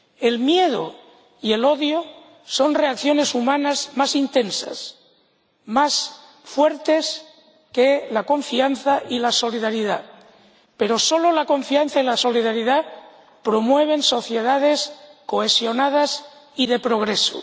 El miedo y el odio son reacciones humanas más intensas, más fuertes, que la confianza y la solidaridad, pero solo la confianza y la solidaridad promueven sociedades cohesionadas y de progreso.